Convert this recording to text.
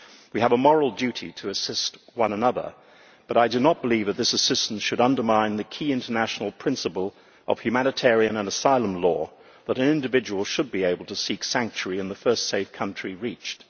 We have a moral duty to assist one another, but I do not believe that this assistance should undermine the key international principle of humanitarian and asylum law that an individual should be able to seek sanctuary in the first safe country reached.